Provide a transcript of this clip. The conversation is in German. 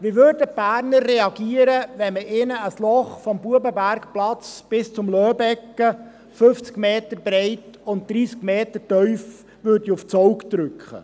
Wie würden die Berner reagieren, wenn man ihnen ein Loch vom Bubenbergplatz bis zum Loebegge, 50 Meter breit und 30 Meter tief, aufs Auge drückte?